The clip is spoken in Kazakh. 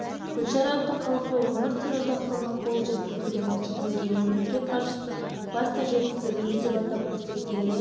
гүлшара әбдіқалықова өмір сүру ұзақтығының қол жеткізілген осы деңгейін мемлекет басшысы басты жетістігіміз деп атап көрсеткеніне